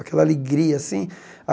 Aquela alegria assim.